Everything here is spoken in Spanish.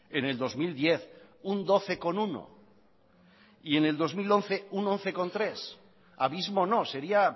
en el dos mil diez un doce coma uno y en el dos mil once un once coma tres abismo no sería